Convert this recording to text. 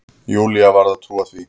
Júlía varð að trúa því.